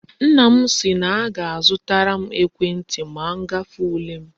Nna m si na o ga azutaram ekwe nti ma ngafe ule m